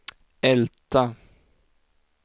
Älta